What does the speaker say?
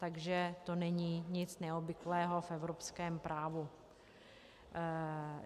Takže to není nic neobvyklého v evropském právu.